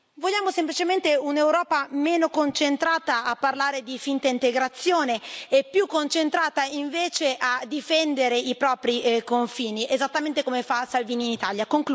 Vogliamo semplicemente un'Europa meno concentrata a parlare di finta integrazione e più concentrata, invece, a difendere i propri confini, esattamente come fa Salvini in Italia.